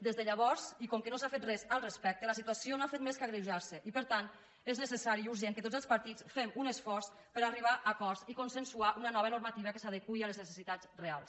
des de llavors i com que no s’ha fet res al respecte la situació no ha fet més que agreujar se i per tant és necessari i urgent que tots els patits fem un esforç per arribar a acords i consensuar una nova normativa que s’adeqüi a les necessitats reals